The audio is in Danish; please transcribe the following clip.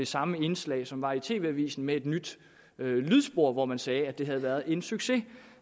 samme indslag som var i tv avisen med et nyt lydspor hvor man sagde at det havde været en succes